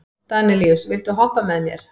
Danelíus, viltu hoppa með mér?